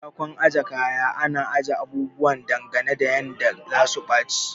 A katakon ajiye kaya ana ajiye abubuwa dangane da yanda zasu baci